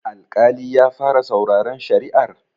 Alƙali ya fara sauraren shari'ar?